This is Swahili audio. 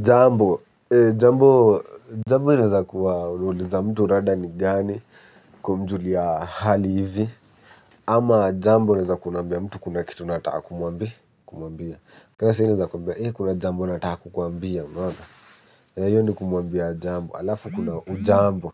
Jambo, jambo, jambo linaweza kuwa unauliza mtu rada nigani kumjulia hali hivi. Ama jambo ni za kuambia mtu kuna kitu nataka kumwambia kumwambia. Kaa sai naeza kuambia, eh kuna jambo nata kukuambia unaoa hiyo ndio kumwambia jambo, alafu kuna hujambo